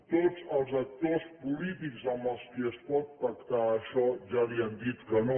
tots els actors polítics amb qui es pot pactar això ja li han dit que no